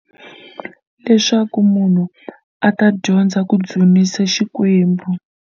Leswaku munhu a ta dyondza ku dzunisa Xikwembu.